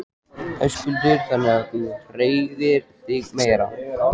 Höskuldur: Þannig að þú hreyfir þig meira?